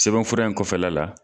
Sɛbɛn fura in kɔfɛla la